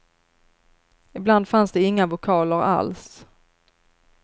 Ibland fanns det inga vokaler alls.